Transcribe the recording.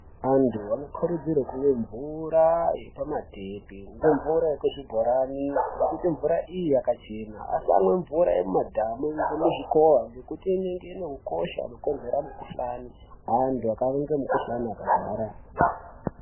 Antu anokurudzirwe kumwe mvura yepamatepi ngeye mvura muzvibhorani ngekuti mvura iyi yakachena asamwe mvura yemumadhamu nemuzvikowa ngekuti inenge inehukosha unokonzera mukuhlani antu akafa nge mukuhlani akarwara.